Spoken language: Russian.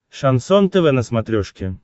шансон тв на смотрешке